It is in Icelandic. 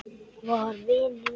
var vinur minn.